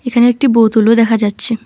এখানে একটি বোতল -ও দেখা যাচ্ছে।